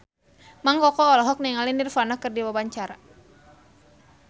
Mang Koko olohok ningali Nirvana keur diwawancara